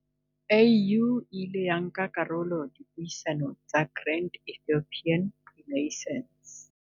AU e ile ya nka karolo dipuisanong tsa Grand Ethiopian Renaissance.